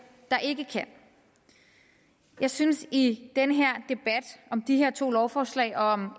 der ikke kan jeg synes at i denne debat om de her to lovforslag og om